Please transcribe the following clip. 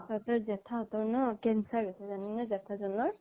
তাতে জেঠা সতৰ cancer হৈছে জানানে জেঠা জনৰ